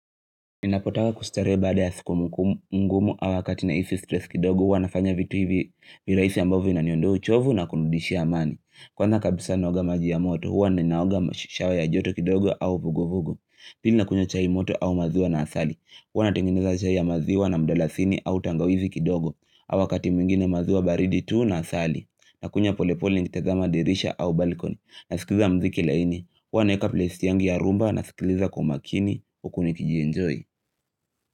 Ninapotaka kustarehe baada ya siku ngumu ama wakati nahiisi stress kidogo huwa nafanya vitu hivi viraisi ambavyo vinaondoa uchovu na kurudishia amani. Kwanza kabisa naoga maji ya moto, huwa ninaoga na shawa ya joto kidogo au vugo vugo. Pili nakunywa chai moto au maziwa na asali, huwa natengeneza chai ya maziwa na mdalasini au tangawizi kidogo, ama wakati mwingine maziwa baridi tu na asali, nakunywa polepole nikitazama dirisha au balkoni, nasikiza mziki laini, huwa naweka playlist yangi ya rhumba nasikiliza kwa makini huku nikijienjoy.